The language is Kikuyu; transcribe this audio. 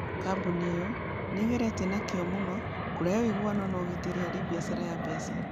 Kambuni ĩyo nĩ ĩgeretie na kĩyo mũno kũrehe ũiguano na ũgitĩri harĩ biacara ya mbeca.